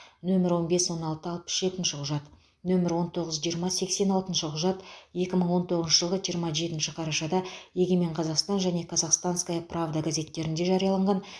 нөмірі он бес он алты алпыс жетінші құжат нөмірі он тоғыз жиырма сексен алтыншы құжат екі мың он тоғызыншы жылғы жиырма жетінші қарашада егемен қазақстан және казахстанская правда газеттерінде жарияланған